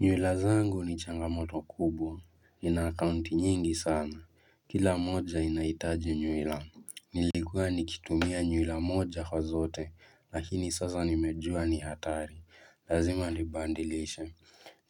Nywila zangu ni changamoto kubwa, ni na akaunti nyingi sana, kila moja inahitaji nywila. Nilikua nikitumia nywila moja kwa zote, lakini sasa nimejua ni hatari, lazima nibadilishe.